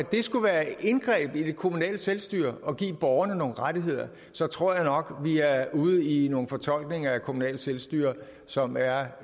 det skulle være et indgreb i det kommunale selvstyre at give borgerne nogle rettigheder så tror jeg nok vi er ude i nogle fortolkninger af begrebet kommunalt selvstyre som er